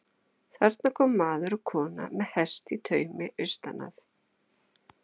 Þarna koma maður og kona með hest í taumi austan um